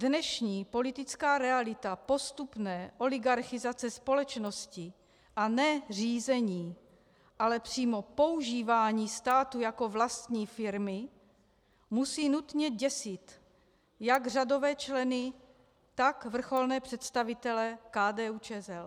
Dnešní politická realita postupné oligarchizace společnosti, a ne řízení, ale přímo používání státu jako vlastní firmy, musí nutně děsit jak řadové členy, tak vrcholné představitele KDU-ČSL.